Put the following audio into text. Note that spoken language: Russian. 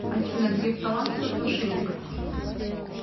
афина греф талантливый мошенник